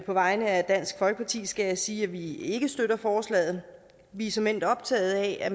vegne af dansk folkeparti skal jeg sige at vi ikke støtter forslaget vi er såmænd optaget af at